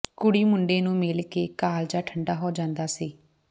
ਕੁੜੀ ਮੁੰਡੇ ਨੂੰ ਮਿਲ ਕੇ ਕਾਲਜਾ ਠੰਢਾ ਹੋ ਜਾਂਦਾ ਸੀ